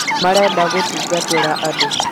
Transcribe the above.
marenda gũtungatĩra andũ